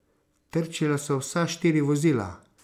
Trčila so vsa štiri vozila.